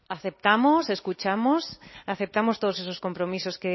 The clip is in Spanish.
aceptamos escuchamos aceptamos todos esos compromisos